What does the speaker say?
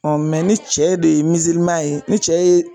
ni cɛ de ye ye ni cɛ ye